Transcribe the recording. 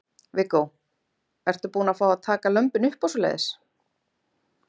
Viggó: Ertu búin að fá að taka lömbin upp og svoleiðis?